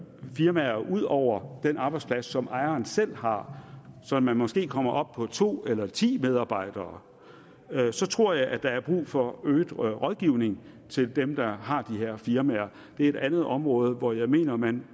firmaer ud over den arbejdsplads som ejeren selv har så man måske kommer op på to eller på ti medarbejdere så tror jeg at der er brug for øget rådgivning til dem der har de her firmaer det er et andet område hvor jeg mener at man